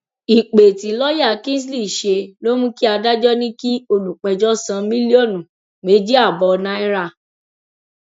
ìpè tí lọọyà kingsley ṣe ló mú kí adájọ ní kí olùpẹjọ san mílọọnù méjì ààbọ náírà